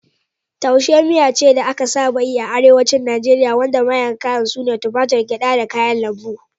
Taushe miya ce da aka saba yi a Arewacin Najeriya wanda manyan kayan su ne tumatur, gyada, da kayan lambu.